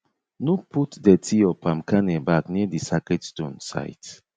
no put dirty or palm kernel back near di sacred stone site